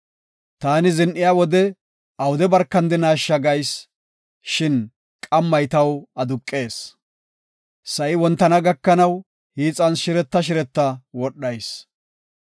Taani zin7iya wode awude barkandinasha gayis; Shin qammay taw aduqees; sa7i wontana gakanaw hiixan shireta shireta wodhayis.